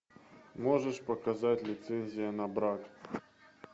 можешь показать лицензия на брак